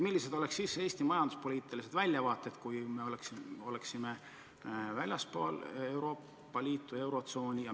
Millised oleksid siis Eesti majanduspoliitilised väljavaated, kui me oleksime väljaspool Euroopa Liitu ja eurotsooni?